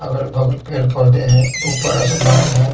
अगल-बगल पेड़-पौधे हैं ऊपर आसमान है।